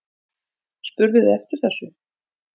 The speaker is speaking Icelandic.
Spurðuð þið eftir þessu?